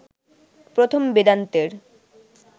প্রথম বেদান্তের